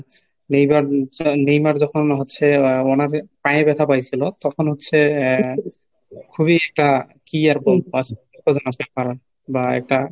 Neymar~ Neymar যখন হচ্ছে আহ মনে পায়ে ব্যথা পাইছিলো তখন হচ্ছে আহ খুবই খুবই একটা কি আর বলবো আসার কারণ বা এটা